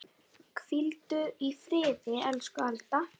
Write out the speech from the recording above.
Hvíldu í friði, elsku Alda.